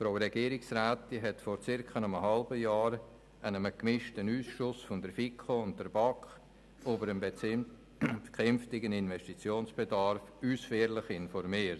: Die Frau Regierungsrätin hat vor circa einem halben Jahr gegenüber einem gemischten Ausschuss der FiKo und der BaK über den künftigen Investitionsbedarf ausführlich informiert.